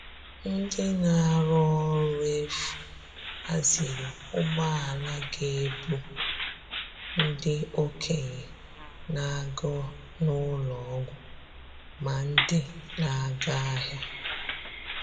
Ndị na-arụ ọrụ efu haziri ụgbọala ga - ebu ndị okenye na - aga n'ụlọ ọgwụ ma ndị na-aga ahịa.